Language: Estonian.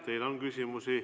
Teile on küsimusi.